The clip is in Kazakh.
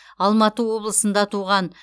алматы облысында туған